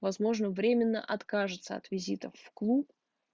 возможно временно откажется от визитов в клуб